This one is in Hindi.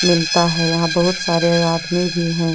यहां बहुत सारे आदमी भी है।